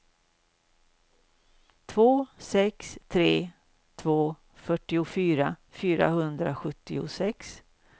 två sex tre två fyrtiofyra fyrahundrasjuttiosex